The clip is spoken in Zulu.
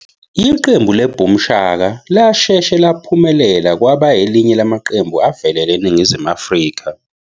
Iqembu le Boom Shaka lashesha laphumelela kwaba elinye lamaqembu avelele eNingizimu Afrika.